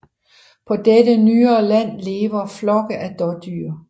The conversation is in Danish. På dette nyere land lever flokke af dådyr